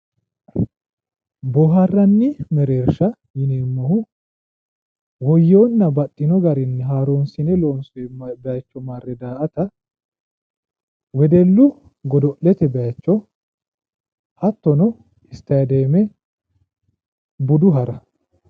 boohaarranni mereersha yineemmohu woyyinonna baxxino garinni baxxino garinni haaroonsine loonsoonni bayicho marre daa''ata wedellu godo'lete bayicho hattono istaadeeme budu hara.